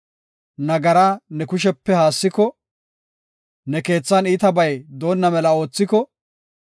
nagaraa ne kushepe haassiko, ne keethan iitabay doonna mela oothiko,